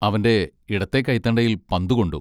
അവൻ്റെ ഇടത്തേ കൈത്തണ്ടയിൽ പന്ത് കൊണ്ടു.